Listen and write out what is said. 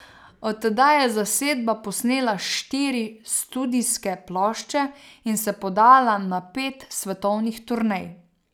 Od tedaj je zasedba posnela štiri studijske plošče in se podala na pet svetovnih turnej.